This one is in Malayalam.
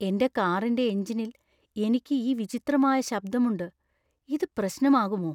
എന്‍റെ കാറിന്‍റെ എഞ്ചിനിൽ എനിക്ക് ഈ വിചിത്രമായ ശബ്ദമുണ്ട്. ഇത് പ്രശ്നമാകുമോ?